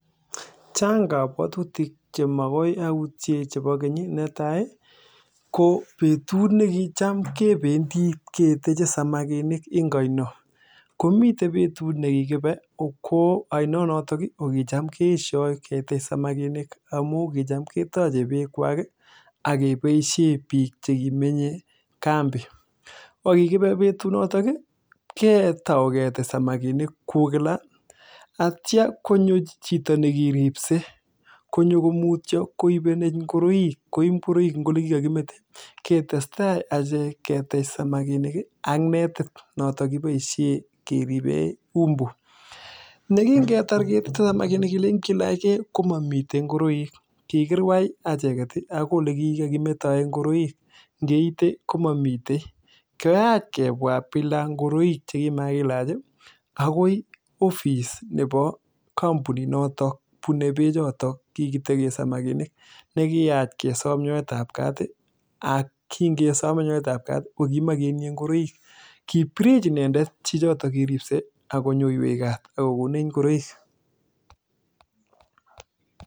Chang kabwatutik Che magoi autie chebo keny netai ko betut ne kicham kebendi kechenge samakinik en oino komiten betut ne kikibe ko oinonoto ko kicham keesyo kenam samakinik kitam ketoche be kwak ak keboisien bik Che kimenye kambi ko kibe betunotok ko tour ketekan samakinik kou kila ak yeityo konyo chito ne kiribse ko mutyo koib ngoroik en Ole kikametoen ketestai achek ketech samakinik ak netit noton kiboisien keribe umbu yekitar keteche samakinik kelen kilach ge ko mamiten ngoroik kikirwai acheget ii agoi Ole kikokimetoen ngoroik ngeite ko mamitei koyach koma ngoroik Che kikakilach ii agoi office noton nebo kampuninoto bonei be choto kikotoche samakinik ne kiyach kesom nyoetab kaat ak kingesom nyoetab Kat ii ko koma ketinye ngoroik kibirech inendet chichoto kiribse ak konyoiwech kaat ak kokonech ngoroik